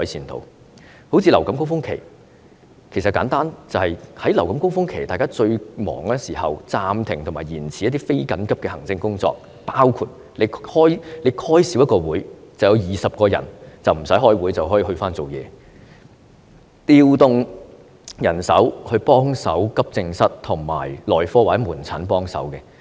正如為應付流感高峰期，最簡單的做法，便是在流感高峰期最繁忙的時候，暫停和延遲一些非緊急的行政工作，例如減少召開一個會議，便有20人無須開會，可以回去工作；也可調動人手到急症室或門診幫忙。